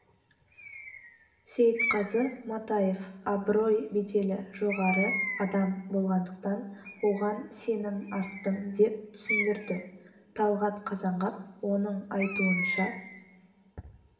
сейітқазы матаев абырой-беделі жоғары адам болғандықтан оған сенім арттым деп түсіндірді талғат қазанғап оның айтуынша